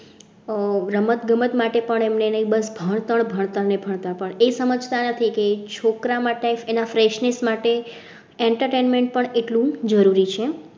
આહ રમત ગમત માટે પણ એને બસ ભણતર ભણતર ને ભણતર પણ એ સમજતા નથી કે છોકરા માટે freshness માટે entertainment પણ એટલું જરૂરી છે.